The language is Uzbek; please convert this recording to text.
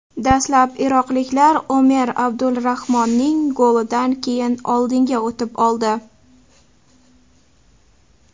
Dastlab iroqliklar Omer Abdulrahmonning golidan keyin oldinga o‘tib oldi.